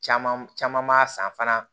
Caman caman maa san fana